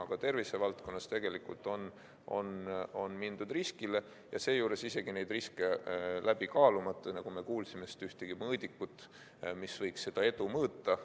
Aga tervisevaldkonnas on mindud riskile ja seejuures isegi neid riske läbi kaalumata, nagu me kuulsime, sest pole ühtegi mõõdikut, mis võiks seda edu mõõta.